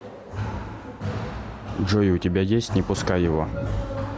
джой у тебя есть не пускай его